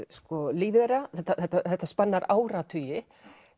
lífi þeirra þetta spannar áratugi